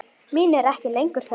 Mín er ekki lengur þörf.